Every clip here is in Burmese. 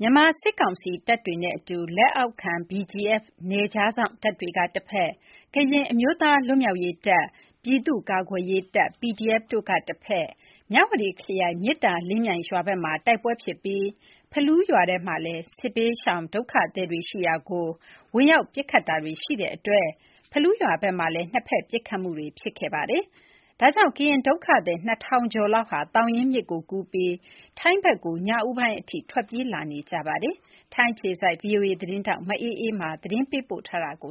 မြန်မာစစ်ကောင်စီတပ်တွေနဲ့အတူ လက်အောက်ခံ BGF နယ်ခြားစောင့်တပ်တွေနဲ့ ကရင်အမျိုးသား လွတ်မြောက်ရေးတပ်၊ ပြည်သူ့ကာကွယ်ရေးတပ် PDF တို့ဟာ မြဝတီခရိုင်ထဲက မေတ္တာလင်းမြိုင်ရွာဘက်မှာ တိုက်ပွဲဖြစ်ပြီး စနေနေ့ ညနေပိုင်းမှာ ဖလူးရွာထဲက စစ်ဘေးရှောင်ဒုက္ခသည်တွေ ရှိရာကို ဝင်ရာက်ပစ်ခတ်တာတွေ ရှိလာတဲ့အတွက် ဖလူးရွာဘက်မှာလည်း နှစ်ဖက် ပစ်ခတ်မှုတွေ ဖြစ်ခဲ့ပါတယ်။ ဒီအတွက် ကရင်ဒုက္ခသည် ၂,၀၀၀ ကျော်လောက်ဟာ သောင်ရင်းမြစ်ကိုကူးပြီး ထိုင်းဘက်ကို ညဦးပိုင်းထိ ထွက်ပြေးလာနေကြပါတယ်။ အပြည့်အစုံကို ဗွီအိုအေသတင်းထောက် မအေးအေးမာ တင်ပြပေးထားပါတယ်။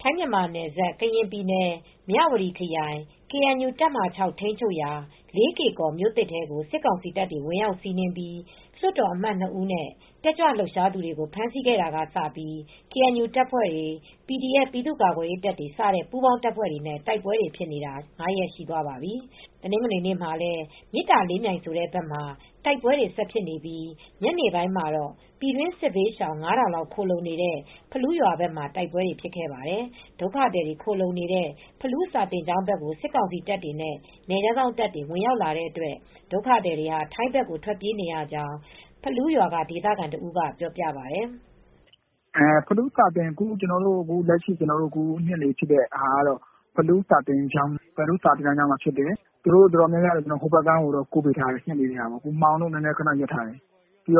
ထိုင်း-မြန်မာနယ်စပ် ကရင်ပြည်နယ် မြဝတီခရိုင် ကေအန်ယူ တပ်မဟာ ၆ ထိန်းချုပ်ရာ လေးကေ့ကော်မြို့သစ်ထဲကို စစ်ကောင်စီတပ်တွေ ဝင်ရောက်စီးနင်းပြီး လွှတ်တော်အမတ် ၂ ဦးနဲ့ တက်ကြွလှုပ်ရှားသူတွေ ဖမ်းဆီးခဲ့တာကစပြီး ကေအန်ယူတပ်ဖွဲ့တွေ၊ PDF ပြည်သူ့ကာကွယ်ရေးတပ်တွေ စတဲ့ ပူးပေါင်းတပ်ဖွဲ့တွေနဲ့ တိုက်ပွဲတွေဖြစ်တာ ၅ ရက်ရှိသွားပါပြီ။ တနင်္ဂနွေနေ့မှာလည်း မေတ္တာလင်းမြိုင်ဆိုတဲ့ဘက်မှာ တိုက်ပွဲတွေ ဆက်ဖြစ်နေပြီး ညနေပိုင်းမှာတော့ ပြည်တွင်းစစ်ဘေးရှောင် ၅,၀၀၀ လောက် ခိုလှုံနေတဲ့ ဖလူးရွာဘက်မှာ တိုက်ပွဲတွေ ဖြစ်ခဲ့ပါတယ်။ ဒုက္ခသည်တွေ ခိုလှုံနေတဲ့ ဖလူးစာသင်ကျောင်းဘက်ကို စစ်ကောင်စီတပ်တွေနဲ့ နယ်ခြားစောင့်တပ်တွေ ဝင်ရောက်လာတဲ့အတွက် ဒုက္ခသည်တွေဟာ ထိုင်းဘက်ကို ထွက်ပြေးနေရကြောင်း ဖလူးရွာက ဒေသခံတဦးက ပြောပြပါတယ်။ “လက်ရှိ ဖြစ်တာက ဖလူးစာသင်ကျောင်းနားမှာ ဖြစ်တယ်။ သူတို့ အတော်များများကိုတော့ ဟိုဘက်ကမ်းကို ကူးပေးထားတယ်။ ညနေကတည်းက မှောင်လို့ ခနရပ်ထားတယ်။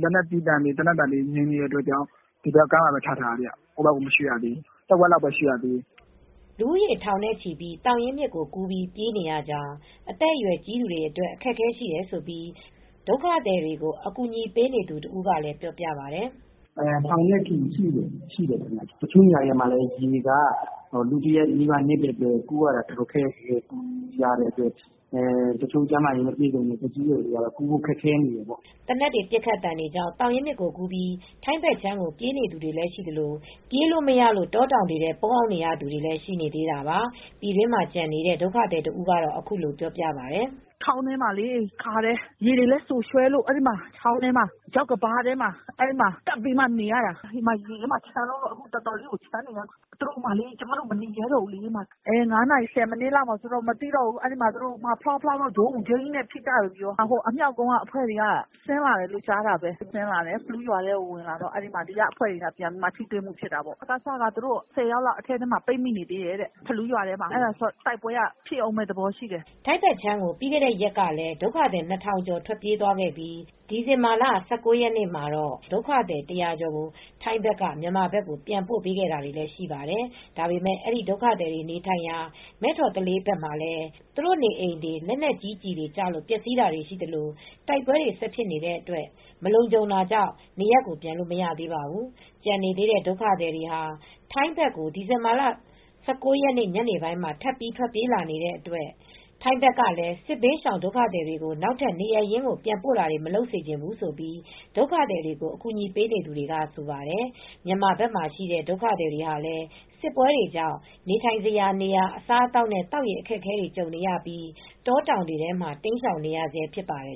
လက်နက်ကြီးသံတွေ သေနတ်သံတွေ နီးနေလို့ ဒီဘက်ကမ်းမှာပဲ ထားထားရတယ်။ ဟိုဘက်ကမ်းကို မရွှေ့ရသေးဘူး။ တဝက်လောက်ပဲ ရွှေ့ရသေးတယ်။” လူဦးရေ ထောင်နဲ့ချီပြီး သောင်ရင်းမြစ်ကိုကူးပြီး ပြေးနေရကြောင်း၊ အသက်အရွယ် ကြီးသူတွေအတွက် အခက်အခဲရှိကြောင်း ဒုက္ခသည်တွေကို အကူအညီ ပေးနေသူတဦးကလည်း ပြောပြပါတယ်။ “ထောင်နဲ့ချီပြီး ရှိတယ်။ တချို့နေရာတွေမှာလည်း ရေက လူတရပ်နီးပါး နစ်တဲ့အတွက် တချို့ ကျန်းမာရေးမကောင်းတဲ့ သက်ကြီးရွယ်အိုတွေကတော့ ကူးဖို့ခက်ခဲနေတယ်ပေါ့။” သေနတ်ပစ်ခတ်သံတွေကြောင့် သောင်ရင်းမြစ်ကူးပြီး ထိုင်းဘက်ခြမ်းကို ပြေးနေသူတွေ ရှိသလို ပြေးလို့မရလို့ တောတောင်တွေထဲ ပုန်းနေရသူတွေလည်း ရှိနေသေးတာပါ။ ပြည်တွင်းမှာ ကျန်နေတဲ့ ဒုက္ခသည်တဦးကတော့ အခုလိုပြောပြပါတယ်။ “ချောင်းထဲမှာလေ ရေတွေလည်း စိုရွှဲလို့၊ အဲဒီချောင်းထဲမှာ ချောက်ကမ်းပါးထဲမှာ ကပ်ပြီး နေရတာ ရေထဲမှာ ချမ်းလွန်းလို့ အခု အတော်လေးကို ချမ်းလွန်းလို့ ကျမတို့ မနေရဲတော့ဘူး။ ၅ နာရီ ၁၀ မိနစ်လောက်မှာ ဖောင်းဖောင်း ဂျိမ်းဂျိမ်းနဲ့ ပစ်ကြတယ်။ အမြှောက်ကုန်းက လူတွေက ဆင်းလာတယ်ပြောတယ်။ ဖလူးရွာထဲကို ဝင်လာတော့ ဒီကအဖွဲ့တွေနဲ့ ထိတွေ့မှုတွေတော့ ဖြစ်တာပေါ့။ စကစက ၁၀ ယောက်လောက် ဖလူးရွာထဲမှာ ပိတ်မိနေသေးတယ်။ အဲဒီတော့ တိုက်ပွဲက ဖြစ်ဦးမယ့်သဘောရှိတယ်။” ထိုင်းဘက်ခြမ်းကို ပြီးခဲ့တဲ့ရက်ကလည်း ဒုက္ခသည် ၂,၀၀၀ ကျော် ထွက်ပြေးလာပြီး ဒီဇင်ဘာလ ၂၀ ရက်နေ့မှာတော့ ဒုက္ခသည် ၁၀၀ ကျော်ကို ထိုင်းဘက်က မြန်မာဘက်ကို ပြန်ပို့ပေးခဲ့တာတွေလည်း ရှိပါတယ်။ ဒါပေမယ့် အဲဒီ ဒုက္ခသည်တွေ နေထိုင်ရာ မဲ့ထော်သလေးဘက်မှာလည်း သူတို့နေအိမ်တွေ လက်နက်ကြီးကျည်တွေ ကျလို့ ပျက်စီးတာတွေရှိသလို တိုက်ပွဲတွေက ဆက်ဖြစ်နေတဲ့အတွက် မလုံခြုံတာကြောင့် နေရပ်ပြန်လို့ မရသေးပါဘူး။ ကျန်နေသေးတဲ့ ဒုက္ခသည်တွေဟာ ထိုင်းဘက်ကို ဒီဇင်ဘာလ ၁၉ ရက်နေ့ ညနေပိုင်းမှာ ထပ်ပြီး ထွက်ပြေးလာနေတဲ့အတွက် ထိုင်းဘက်ကလည်း စစ်ဘေးရှောင် ဒုက္ခသည်တွေကို နောက်ထပ် နေရပ်ရင်းကို ပြန်ပို့တာတွေ မလုပ်စေချင်ဘူးလို့ ဒုက္ခသည်တွေကို အကူအညီ ပေးနေသူတွေက ဆိုပါတယ်။ မြန်မာဘက်မှာရှိတဲ့ ဒုက္ခသည်တွေဟာလည်း စစ်ပွဲတွေကြောင့် နေထိုင်စရာနေရာ အစားအသောက်နဲ့ သောက်ရေ အခက်အခဲတွေ ကြုံနေရပြီး တောတောင်တွေထဲ တိမ်းရှောင်နေရဆဲ ဖြစ်ပါတယ်